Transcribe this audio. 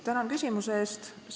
Tänan küsimuse eest!